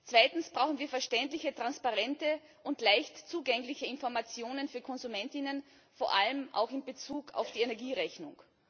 Zweitens brauchen wir verständliche, transparente und leicht zugängliche Informationen für KonsumentInnen, vor allem auch in Bezug auf die Energierechnung.